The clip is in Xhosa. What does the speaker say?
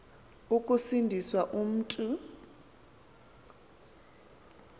ukusindi swa mntu